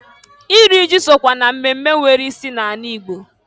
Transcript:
Iri ji sokwa na mmemme nwere isi na-ala ịgbo.